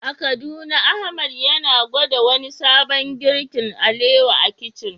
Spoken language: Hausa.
A Kaduna Ahmad yana gwada wani sabon girkin alewa a kicin.